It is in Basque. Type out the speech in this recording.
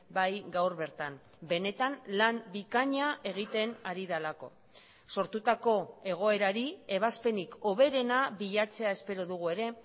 bai gaur bertan benetan lan bikaina egiten ari delako sortutako egoerari ebazpenik hoberena bilatzea espero dugu ere